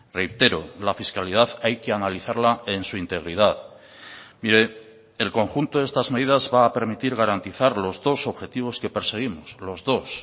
reitero la fiscalidad hay que analizarla en su integridad mire el conjunto de estas medidas va a permitir garantizar los dos objetivos que perseguimos los dos